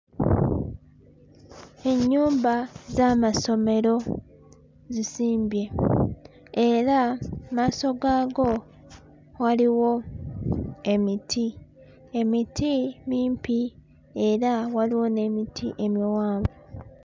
Ennyumba z'amasomero zisimbye era mu maaso gaago waliwo emiti. Emiti mimpi era waliwo n'emiti emiwanvu.